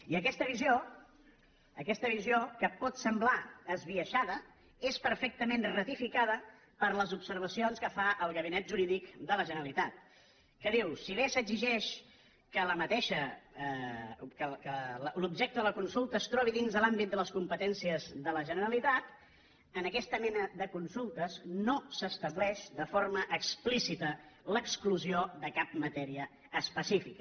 i aquesta visió que pot semblar esbiaixada és perfectament ratificada per les observacions que fa el gabinet jurídic de la generalitat que diu si bé s’exigeix que l’objecte de la consulta es trobi dins de l’àmbit de les competències de la generalitat en aquesta mena de consultes no s’estableix de forma explícita l’exclusió de cap matèria especifica